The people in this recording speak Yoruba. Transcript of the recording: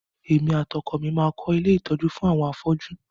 Èmi àti ọkọ mi máa kọ́ ilé ìtọjú àwọn àwọn afọ́ju.